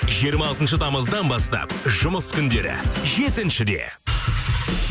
жиырма алтыншы тамыздан бастап жұмыс күндері жетіншіде